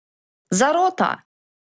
Zarota!